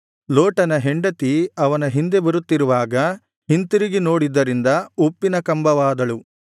ಲೋಟನ ಹೆಂಡತಿ ಅವನ ಹಿಂದೆ ಬರುತ್ತಿರುವಾಗ ಹಿಂತಿರುಗಿ ನೋಡಿದ್ದರಿಂದ ಉಪ್ಪಿನ ಕಂಬವಾದಳು